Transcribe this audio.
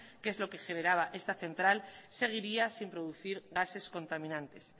que es lo que generaba esta central seguiría sin producir gases contaminantes